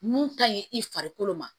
Mun ka ɲi i farikolo ma